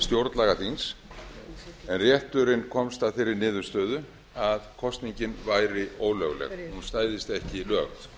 stjórnlagaþings en rétturinn komst að þeirri niðurstöðu að kosningin væri ólögleg hún stæðist ekki lög